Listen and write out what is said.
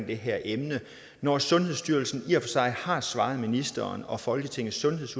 det her emne når sundhedsstyrelsen i og for sig har svaret ministeren og folketingets sundheds